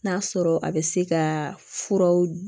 N'a sɔrɔ a bɛ se ka furaw